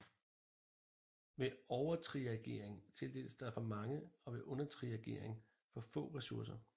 Ved overtriagering tildeles der for mange og ved undertriagering for få ressourcer